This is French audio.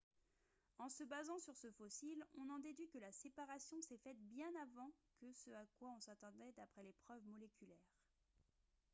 « en se basant sur ce fossile on en déduit que la séparation s’est faite bien avant que ce à quoi on s’attendait d’après les preuves moléculaires